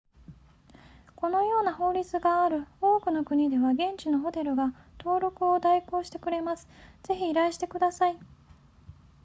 このような法律がある多くの国では現地のホテルが登録を代行してくれますぜひ依頼してください